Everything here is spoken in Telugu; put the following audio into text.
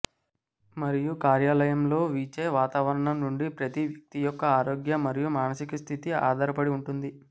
మరియు కార్యాలయంలో వీచే వాతావరణం నుండి ప్రతి వ్యక్తి యొక్క ఆరోగ్య మరియు మానసిక స్థితి ఆధారపడి ఉంటుంది